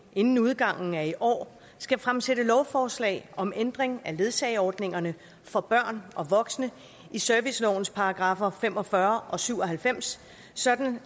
inden udgangen af i år skal fremsætte lovforslag om ændring af ledsageordningerne for børn og voksne i servicelovens paragraffer fem og fyrre og syv og halvfems sådan